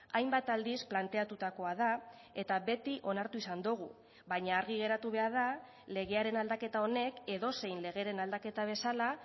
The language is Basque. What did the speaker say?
hainbat aldiz planteatutakoa da eta beti onartu izan dugu baina argi geratu behar da legearen aldaketa honek edozein legeren aldaketa bezala